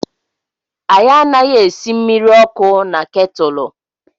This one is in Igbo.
Anyị anaghị esị mmiri ọkụ na ketúlú.